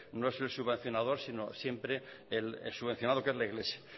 no es el subvencionador sino siempre el subvencionado que es la iglesia